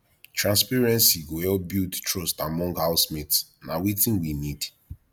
transparency go help build trust among housemates na wetin we need